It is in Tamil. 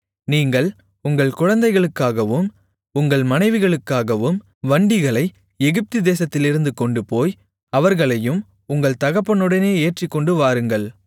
நீங்கள் உங்கள் குழந்தைகளுக்காகவும் உங்கள் மனைவிகளுக்காகவும் வண்டிகளை எகிப்துதேசத்திலிருந்து கொண்டுபோய் அவர்களையும் உங்கள் தகப்பனுடனே ஏற்றிக்கொண்டு வாருங்கள்